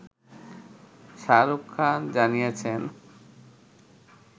শাহরুখ খান জানিয়েছেন